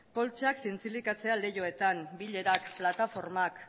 poltsak zintzilikatzea leihoetan bilerak plataformak